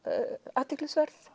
athyglisverð